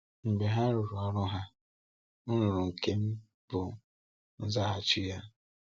‘Mgbe ha rụrụ ọrụ ha, m rụrụ nke m,’ bụ́ nzaghachi ya.